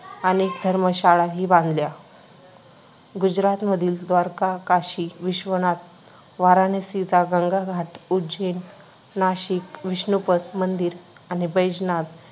अनेक धर्मशाळाही बांधल्या, गुजरातमधील द्वारका, काशी विश्वनाथ, वाराणसीचा गंगा घाट, उज्जैन, नाशिक, विष्णुपद मंदिर आणि बैजनाथ